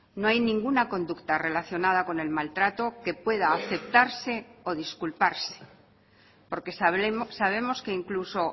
no hay ninguna conducta relacionada con el maltrato que pueda aceptarse o disculparse porque sabemos que incluso